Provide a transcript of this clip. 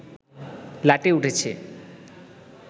লাটে উঠেছে